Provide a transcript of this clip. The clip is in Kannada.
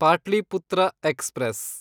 ಪಾಟ್ಲಿಪುತ್ರ ಎಕ್ಸ್‌ಪ್ರೆಸ್